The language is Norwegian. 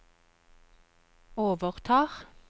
overtar